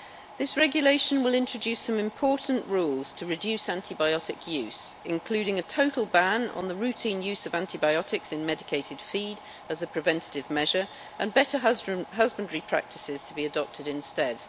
This regulation will introduce some important rules to reduce antibiotic use, including a total ban on the routine use of antibiotics in medicated feed as a preventative measure and better husbandry practices to be adopted instead.